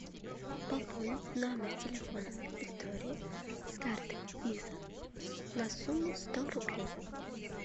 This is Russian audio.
пополнить номер телефона виктории с карты виза на сумму сто рублей